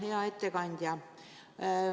Hea ettekandja!